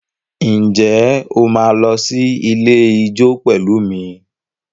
Ǹjẹ́ o máa lọ sí ilé ijó pẹ̀lú mi?